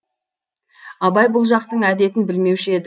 абай бұл жақтың әдетін білмеуші еді